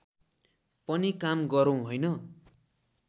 पनि काम गरौं हैन